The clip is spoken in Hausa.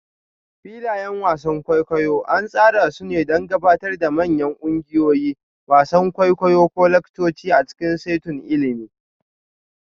Filayen wasan kwaikwayo an tsara su don gabatar da manyan ƙungiyoyi, wasan kwaikwayo ko laccoci a cikin saitunan ilimi.